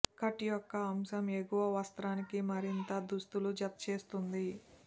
cut యొక్క ఈ అంశం ఎగువ వస్త్రానికి మరింత దుస్తులు జతచేస్తుంది